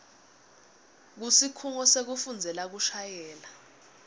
kusikhungo sekufundzela kushayela